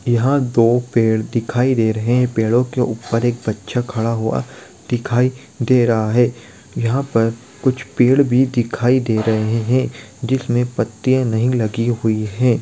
यहाँ दो पेड़ दिखायी दे रहे है. पेड़ के ऊपर बच्चा खड़ा हुआ दिखायी दे रहा है यहाँ पर कुछ पेड़ भी दिखायी दे रहे है जिसमें पत्ते नहीं लगी हुई है।